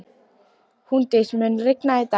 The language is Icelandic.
Húndís, mun rigna í dag?